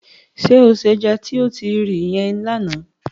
Ṣé o se ẹja tí o ti ri yẹn lánàá?